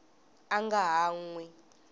a nga ha n wi